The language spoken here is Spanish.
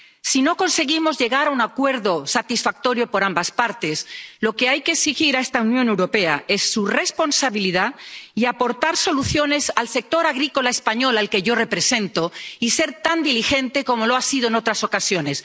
Si no conseguimos llegar a un acuerdo satisfactorio para ambas partes, lo que hay que hacer es exigir a esta Unión Europea responsabilidad, que aporte soluciones al sector agrícola español ⸺al que yo represento⸺ y que sea tan diligente como lo ha sido en otras ocasiones.